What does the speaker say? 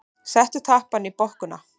Settu tappann í bokkuna.